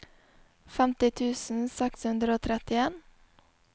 femti tusen seks hundre og trettien